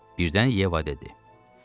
Birdən Yeva dedi: